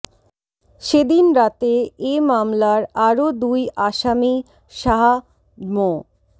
সেদিন রাতে এ মামলার আরো দুই আসামি শাহ মো